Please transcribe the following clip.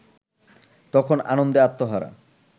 তখন আনন্দে আত্মহারা